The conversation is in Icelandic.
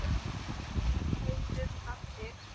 Hún heyrir raddir.